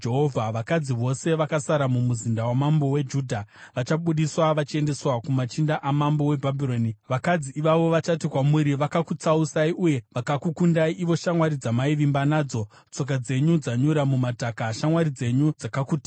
Vakadzi vose vakasara mumuzinda wamambo weJudha vachabudiswa vachiendeswa kumachinda amambo weBhabhironi. Vakadzi ivavo vachati kwamuri: “ ‘Vakakutsausai uye vakakukundai, ivo shamwari dzamaivimba nadzo. Tsoka dzenyu dzanyura mumadhaka; shamwari dzenyu dzakakutizai.’